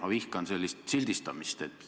Ma vihkan sellist sildistamist.